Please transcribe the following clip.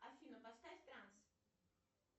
афина поставь транс